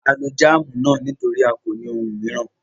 À ló jamu náà nítorí à kò ní ọ̀un mìíran.